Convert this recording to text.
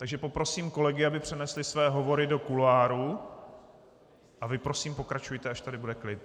Takže poprosím kolegy, aby přenesli své hovory do kuloárů, a vy prosím pokračujte, až tady bude klid.